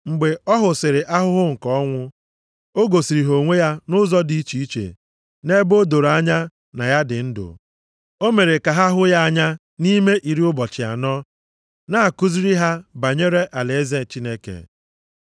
Mgbe ọ hụsịrị ahụhụ nke ọnwụ, o gosiri ha onwe ya nʼụzọ dị iche iche nʼebe o doro anya na ya dị ndụ. O mere ka ha hụ ya anya nʼime iri ụbọchị anọ, na-akụziri ha banyere alaeze Chineke.